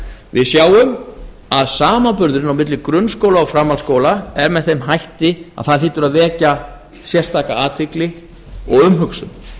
við sjáum að samanburðurinn á milli grunnskóla og framhaldsskóla er með þeim hætti að það hlýtur að vekja sérstaka athygli og umhugsun